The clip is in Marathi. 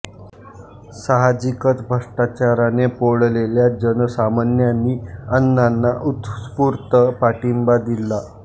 साहजिकचं भ्रष्टाचाराने पोळलेल्या जनसामान्यांनी अण्णांना उत्स्फूर्त पाठिंबा दिला